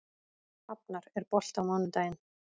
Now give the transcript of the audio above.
Hafnar, er bolti á mánudaginn?